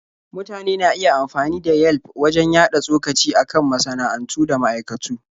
Mutane na iya amfani da Yelf wajen yaɗa tsokaci a kan masana'antu da ma'aikatu.